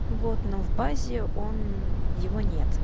вот но в базе он его нет